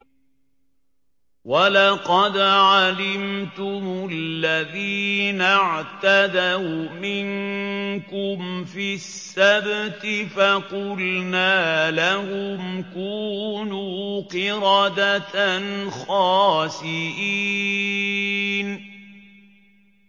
وَلَقَدْ عَلِمْتُمُ الَّذِينَ اعْتَدَوْا مِنكُمْ فِي السَّبْتِ فَقُلْنَا لَهُمْ كُونُوا قِرَدَةً خَاسِئِينَ